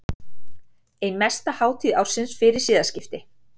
Ein mesta hátíð ársins fyrir siðaskipti.